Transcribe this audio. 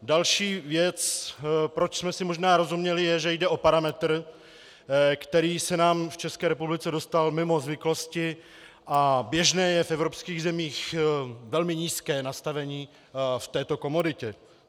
Další věc, proč jsme si možná rozuměli, je, že jde o parametr, který se nám v České republice dostal mimo zvyklosti, a běžné je v evropských zemích velmi nízké nastavení v této komoditě.